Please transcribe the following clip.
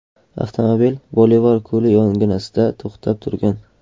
Avtomobil Bolivar ko‘li yonginasida to‘xtab turgan.